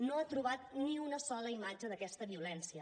no ha trobat ni una sola imatge d’aquesta violència